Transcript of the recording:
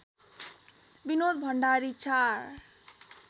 Binod Bhandari ४